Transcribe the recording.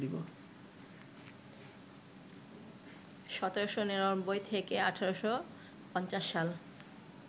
১৭৯৯ থেকে ১৮৫০সাল